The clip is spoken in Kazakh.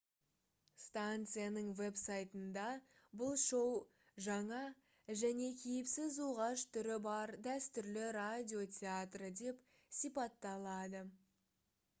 станцияның веб-сайтында бұл шоу «жаңа және кейіпсіз оғаш түрі бар дәстүрлі радио театры» деп сипатталады